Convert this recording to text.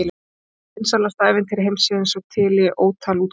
Það er eitt vinsælasta ævintýri heimsins og til í ótal útgáfum.